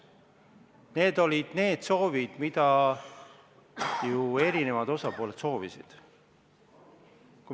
Need olid need soovid, mida eri osapooled soovisid.